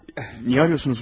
Niyə zəng edirsiniz mənə?